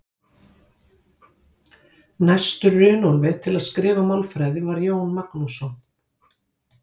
Næstur Runólfi til að skrifa málfræði var Jón Magnússon.